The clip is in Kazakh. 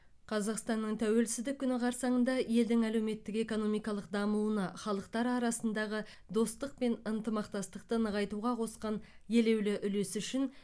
қазақстанның тәуелсіздік күні қарсаңында елдің әлеуметтік экономикалық дамуына халықтар арасындағы достық пен ынтымақтастықты нығайтуға қосқан елеулі үлесі үшін